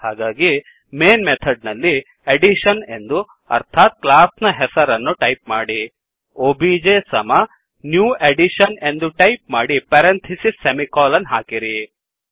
ಹಾಗಾಗಿ main method ನಲ್ಲಿ addition ಎಂದು ಅರ್ಥಾತ್ ಕ್ಲಾಸ್ ನ ಹೆಸರನ್ನು ಟೈಪ್ ಮಾಡಿ ಒಬಿಜೆ ಸಮ ನ್ಯೂ ಅಡಿಷನ್ ಎಂದು ಟೈಪ್ ಮಾಡಿ ಪೆರಾಂಥಿಸಿಸ್ ಸೆಮಿಕೋಲನ್ ಹಾಕಿರಿ